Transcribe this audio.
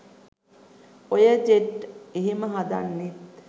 ඔය ජෙට් එහෙම හදන්නෙත්